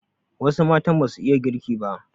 Wasu matan basu iya girki ba